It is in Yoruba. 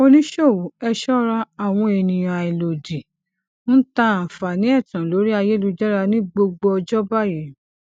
oníṣòwò ẹ ṣọra àwọn ènìyàn àìlódìí ń ta àǹfààní ẹtan lórí ayélujára ní gbogbo ọjọ báyìí